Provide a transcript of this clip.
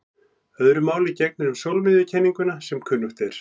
Öðru máli gegnir um sólmiðjukenninguna sem kunnugt er.